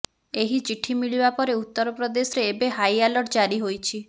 ଏହି ଚିଠି ମିଳିବାପରେ ଉତ୍ତରପ୍ରଦେଶରେ ଏବେ ହାଇ ଆଲର୍ଟ ଜାରି ହୋଇଛି